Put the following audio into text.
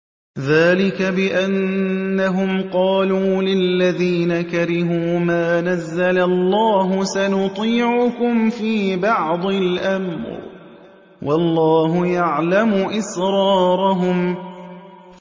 ذَٰلِكَ بِأَنَّهُمْ قَالُوا لِلَّذِينَ كَرِهُوا مَا نَزَّلَ اللَّهُ سَنُطِيعُكُمْ فِي بَعْضِ الْأَمْرِ ۖ وَاللَّهُ يَعْلَمُ إِسْرَارَهُمْ